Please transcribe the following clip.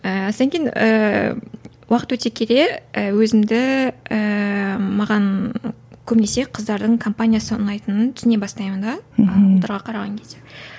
ііі сонан кейін ііі уақыт өте келе і өзімді ііі маған көбінесе қыздардың компаниясы ұнайтынын түсіне бастаймын да мхм ұлдарға қараған кезде